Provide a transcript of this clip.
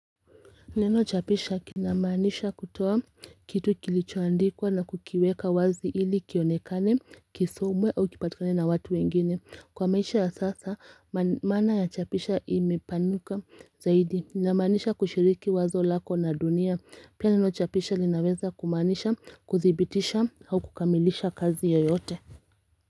Neno chapisha kinamanisha kutoa kitu kilichoandikwa na kukiweka wazi ili kionekane kisomwe au kipatikane na watu wengine kwa maisha ya sasa maana ya chapisha imepanuka zaidi inamaanisha kushiriki wazo lako na dunia pia neno chapisha linaweza kumanisha kuthibitisha au kukamilisha kazi yeyote.